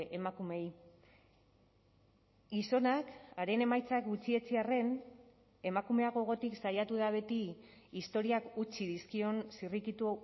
emakumeei gizonak haren emaitzak gutxietsi arren emakumea gogotik saiatu da beti historiak utzi dizkion zirrikitu